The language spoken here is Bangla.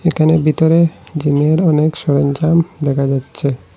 একানে ভিতরে জিমের অনেক সরঞ্জাম দেখা যাচ্ছে।